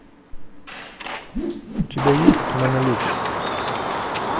у тебя есть манолете